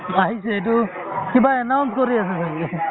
আহিছে এইটো কিবা announce কৰি আছে চাগে